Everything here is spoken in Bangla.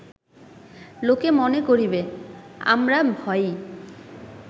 লোকে মনে করিবে, আমরা ভয়েই